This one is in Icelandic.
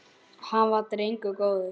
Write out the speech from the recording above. Hann var drengur góður.